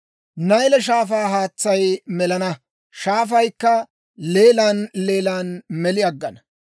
Nayle Shaafaa haatsay melana; shaafaykka leelan leelan meli aggana.